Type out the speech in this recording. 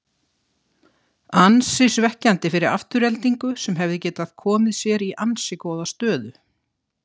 Ansi svekkjandi fyrir Aftureldingu sem hefði getað komið sér í ansi góða stöðu.